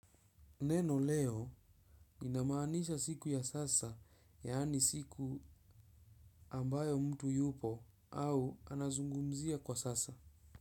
Neno leo inamaanisha siku ya sasa, yaani siku ambayo mtu yupo au anazungumzia kwa sasa.